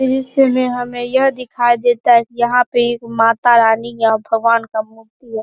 दृश्य में हमें यह दिखाई देता है की यहाँ पे एक मातारानी या भगवान का मूर्ति है।